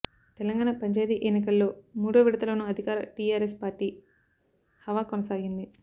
తెలంగాణ పంచాయతీ ఎన్నికల్లో మూడో విడతలోనూ అధికార టీఆర్ఎస్ పార్టీ హవా కొనసాగింది